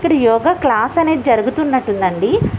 ఇక్కడ యోగా క్లాస్ అన్నేది జరుగుతున్నాటు ఉంది అండి.